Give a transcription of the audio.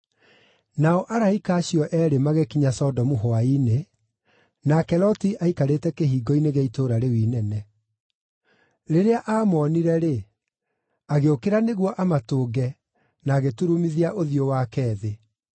Nao araika acio eerĩ magĩkinya Sodomu hwaĩ-inĩ, nake Loti aikarĩte kĩhingo-inĩ gĩa itũũra rĩu inene. Rĩrĩa aamoonire-rĩ, agĩũkĩra nĩguo amatũnge, na agĩturumithia ũthiũ wake thĩ.